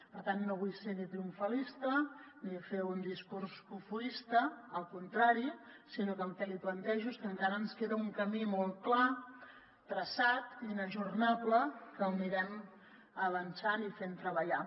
per tant no vull ser ni triomfalista ni fer un discurs cofoista al contrari sinó que el que li plantejo és que encara ens queda un camí molt clar traçat i inajornable que l’anirem avançant i fent treballar